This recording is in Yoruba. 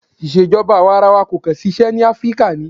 Ìṣèjọba àwarawa kò kàn ṣiṣẹ́ ní Áfríkà.